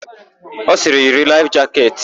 Ọ sịrị, "yiri laịf jaketị"!